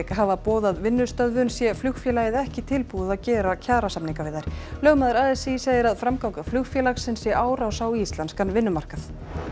hafa boðað vinnustöðvun sé flugfélagið ekki tilbúið að gera kjarasamninga við þær lögmaður a s í segir að framganga flugfélagsins sé árás á íslenskan vinnumarkað